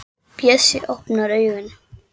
Og klæðir sig úr öllu!